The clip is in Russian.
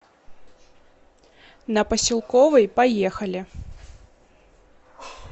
на поселковой поехали